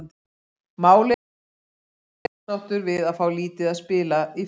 Málið er það að hann var ósáttur við að fá lítið að spila í fyrra.